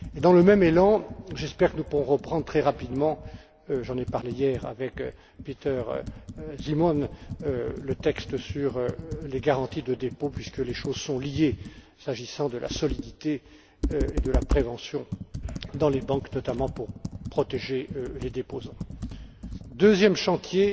Dans le même élan, j'espère que nous pourrons reprendre très rapidement j'en ai parlé hier avec Peter Simon le texte sur les garanties de dépôt puisque les choses sont liées s'agissant de la solidité et de la prévention dans les banques, notamment pour protéger les déposants. Concernant le deuxième chantier,